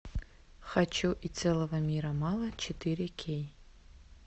хочу и целого мира мало четыре кей